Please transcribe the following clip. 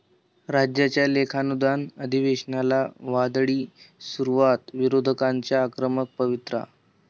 राज्याच्या लेखानुदान अधिवेशनाला 'वादळी' सुरुवात, विरोधकांचा आक्रमक पवित्रा